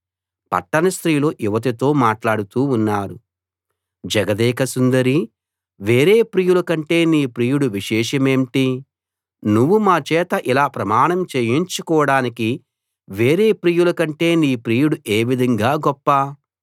పట్టణ స్త్రీలు యువతితో మాట్లాడుతూ ఉన్నారు జగదేక సుందరీ వేరే ప్రియుల కంటే నీ ప్రియుడి విశేషమేంటి నువ్వు మాచేత ఇలా ప్రమాణం చేయించుకోడానికి వేరే ప్రియుల కంటే నీ ప్రియుడు ఏవిధంగా గొప్ప